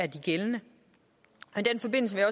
gældende i den forbindelse vil